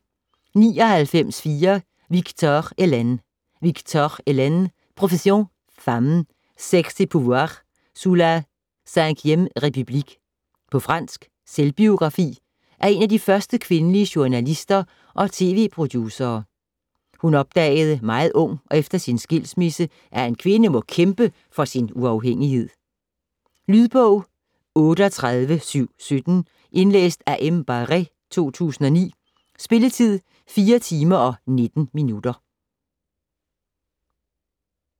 99.4 Victor, Eliane Victor, Eliane: Profession femme: sexe et pouvoir sous la Cinquième République På fransk. Selvbiografi af en af de første kvindelige journalister og tv-producere. Hun opdagede meget ung og efter sin skilsmisse, at en kvinde må kæmpe for sin uafhængighed. Lydbog 38717 Indlæst af M. Baré, 2009. Spilletid: 4 timer, 19 minutter.